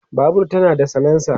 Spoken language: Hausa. Babur tana da salensa